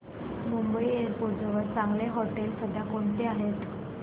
Mumbai airport जवळ चांगली हॉटेलं सध्या कोणती आहेत